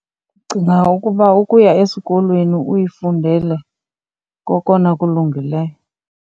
Ndicinga ukuba ukuya esikolweni uyifundele kokona kulungileyo.